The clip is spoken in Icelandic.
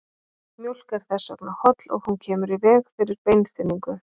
Mjólk er þess vegna holl og hún kemur í veg fyrir beinþynningu.